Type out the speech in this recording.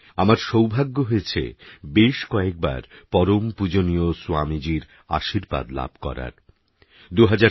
আমার সৌভাগ্য হয়েছে বেশকয়েকবার পরম পূজনীয় স্বামীজীর আশীর্বাদ লাভ করার